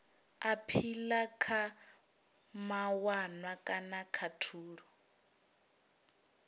aphila kha mawanwa kana khathulo